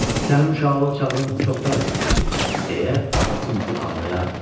Sənin uşaqlıq çağın çoxdan ötüb keçib, deyə atası Mukku danlayardı.